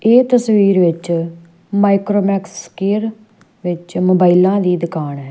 ਇਹ ਤਸਵੀਰ ਵਿੱਚ ਮਾਈਕਰੋਮੈਕਸ ਕੇਅਰ ਵਿੱਚ ਮੋਬਾਈਲਾਂ ਦੀ ਦੁਕਾਨ ਹੈ।